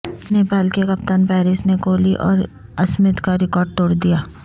نیپال کے کپتان پارس نے کوہلی اور اسمتھ کا ریکارڈ توڑدیا